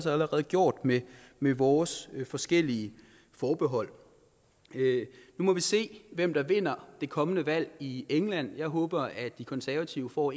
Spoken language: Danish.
allerede gjort med med vores forskellige forbehold nu må vi se hvem der vinder det kommende valg i england jeg håber de konservative får